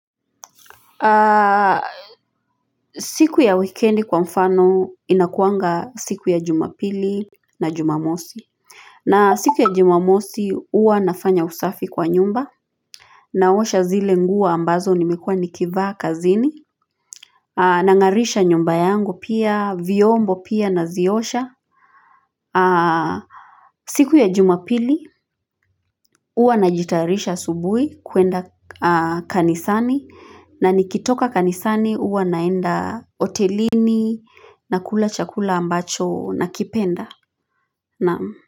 Siku ya wikendi kwa mfano inakuanga siku ya jumapili na jumamosi. Na siku ya jumamosi huwa nafanya usafi kwa nyumba. Naosha zile nguo ambazo nimekua nikivaa kazini. Nangarisha nyumba yangu pia viombo pia naziosha. Siku ya jumapili huwa najitayarisha asubuhi kwenda kanisani. Na nikitoka kanisani huwa naenda hotelini na kula chakula ambacho nakipenda. Naam.